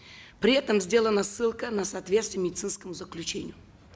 при этом сделана ссылка на соответствие медицинскому заключению